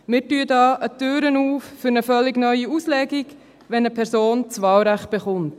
Damit öffnen wir die Türe für eine neue Auslegung, wenn eine Person das Wahlrecht erhält.